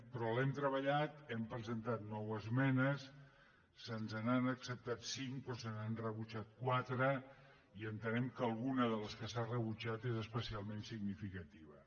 però l’hem treballat hi hem presentat nou esmenes se’ns n’han acceptat cinc però se n’han rebutjat quatre i entenem que alguna de les que s’han rebutjat era especialment significativa